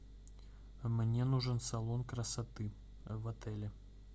мне нужен салон красоты в отеле